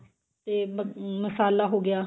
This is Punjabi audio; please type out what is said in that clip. ਤੇ ਅਹ ਮਸਾਲਾ ਹੋ ਗਿਆ